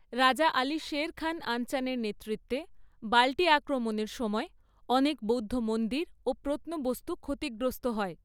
রাজা আলী শের খান আনচানের নেতৃত্বে বাল্টি আক্রমণের সময় অনেক বৌদ্ধ মন্দির ও প্রত্নবস্তু ক্ষতিগ্রস্ত হয়।